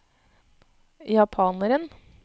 japaneren